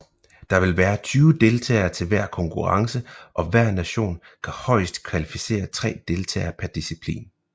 Der vil være 20 deltagere til hver konkurrence og hver nation kan højest kvalificere 3 deltagere per disciplin